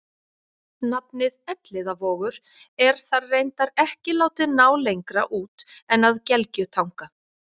nafnið elliðavogur er þar reyndar ekki látið ná lengra út en að gelgjutanga